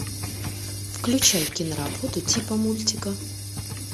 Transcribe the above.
включай киноработу типа мультика